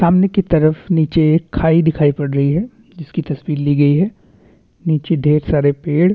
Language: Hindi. सामने की तरफ नीचे एक खाई दिखाई पड़ रही है जिसकी तस्वीर ली गई है नीचे ढेर सारे पेड़--